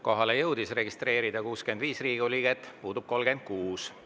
Kohalolijaks jõudis end registreerida 65 Riigikogu liiget, puudub 36.